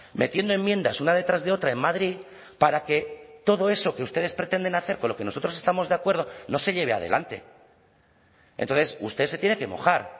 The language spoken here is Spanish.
metiendo enmiendas una detrás de otra en madrid para que todo eso que ustedes pretenden hacer con lo que nosotros estamos de acuerdo no se lleve adelante entonces usted se tiene que mojar